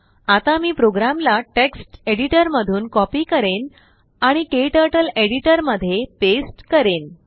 आता मी प्रोग्रामला टेक्स्ट एडिटरमधून कॉपी करेन आणिKTurtleएडिटरमध्ये पेस्ट करीन